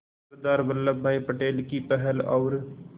सरदार Vallabhbhai Patel की पहल और